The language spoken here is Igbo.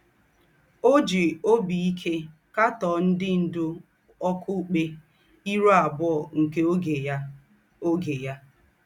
Ọ́ jì óbí íkè kàtọ́ọ̀ ńdị́ ńdú ọ́kụ̀pkè ìrù àbùọ̀ nke ógè ya. ógè ya.